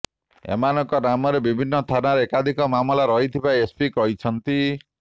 ଏମାନଙ୍କ ନାମରେ ବିଭିନ୍ନ ଥାନାରେ ଏକାଧିକ ମାମଲା ରହିଥିବା ଏସପି କହିଛନ୍ତି